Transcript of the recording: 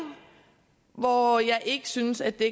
hvor jeg ikke synes at der